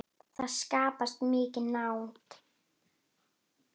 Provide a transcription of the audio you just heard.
Það skapast mikil nánd.